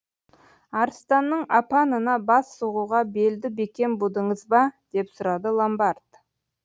арыстанның апанына бас сұғуға белді бекем будыңыз ба деп сұрады ломбард